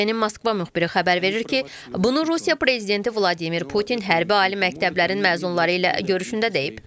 İTV-nin Moskva müxbiri xəbər verir ki, bunu Rusiya prezidenti Vladimir Putin hərbi ali məktəblərin məzunları ilə görüşündə deyib.